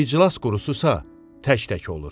İclas qurusu isə tək-tək olur.